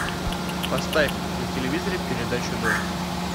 поставь на телевизоре передачу дождь